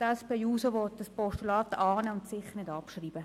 Die SP-JUSO will das Postulat annehmen und sicher nicht abschreiben.